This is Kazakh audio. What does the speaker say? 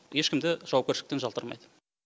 ешкім де жауапкершіліктен жалтармайды